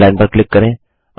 underline पर click करें